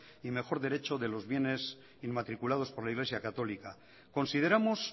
y mejor derecho de los bienes inmatriculados por la iglesia católica consideramos